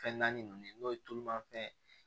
Fɛn naani ninnu ye n'o ye tulumafɛn ye